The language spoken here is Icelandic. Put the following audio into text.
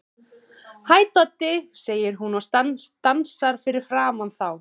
Hæ, Doddi, segir hún og stansar fyrir framan þá.